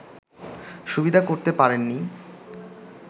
সুবিধা করতে পারেনি